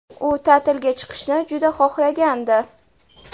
U ta’tilga chiqishni juda xohlagandi ✈️.